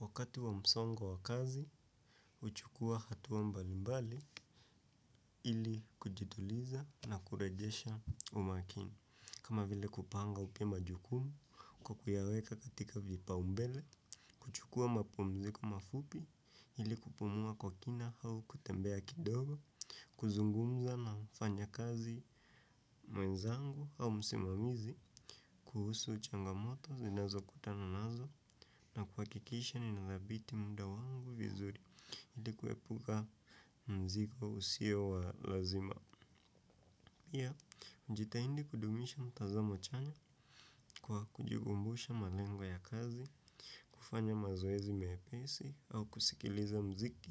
Wakati wa msongo wa kazi, uchukua hatuwa mbalimbali ili kujiduliza na kurejesha umakini. Kama vile kupanga upya majukumu kwa kuyaeka katika vipa umbele, kuchukua mapumziko mafupi ili kupumua kwa kina hau kutembea kidogo, kuzungumza na ufanya kazi mwenzangu hau msimamizi, kuhusu changa moto zinazo kutana nazo na kuakikisha ninadhabiti mda wangu vizuri. Hili kuepuga mzigo usio walazima. Pia, mjitaindi kudumisha mtazamo chanya kwa kujigumbusha malengwa ya kazi. Kufanya mazoezi mepesi au kusikiliza mziki